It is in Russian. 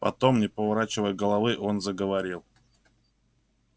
потом не поворачивая головы он заговорил